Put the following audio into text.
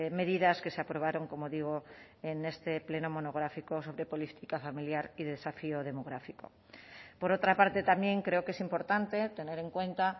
medidas que se aprobaron como digo en este pleno monográfico sobre política familiar y desafío demográfico por otra parte también creo que es importante tener en cuenta